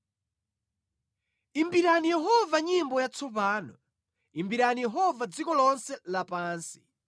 Imbirani Yehova nyimbo yatsopano; Imbirani Yehova dziko lonse lapansi.